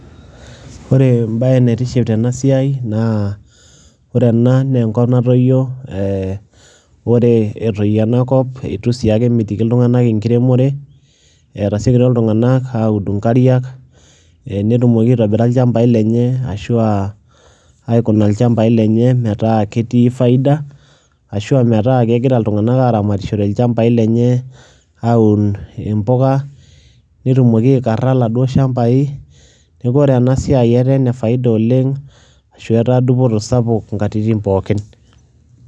Ore embaye naitiship tena siai naa ore ena naa enkop natoyio ee ore etoyio ena kop itu sii ake emitiki iltung'anak enkiremore, etasiokitio iltung'anak audu inkariak netumoki aitobira ilchambai lenye ashu aa aikuna ilchambai lenye metaa ketii faida ashu a metaa kegira iltung'anak aaramatishore ilchambai lenye aaun imbuka netumoki aikara laduo shambai. Neeku ore ena siai etaa ene faida oleng' ashu etaa dupoto sapuk nkatitin pookin.